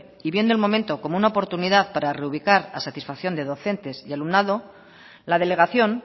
y viendo el momento como una oportunidad para reubicar a satisfacción de docentes y alumnado la delegación